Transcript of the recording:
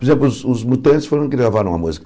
Por exemplo, os os Mutantes foram que gravaram a música.